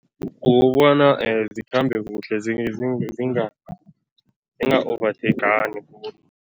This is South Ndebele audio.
Kukobona zikhambe kuhle, zinga zinga ovatheyikhani khulu.